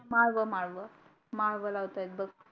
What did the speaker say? माळव माळव मालव लावतय बग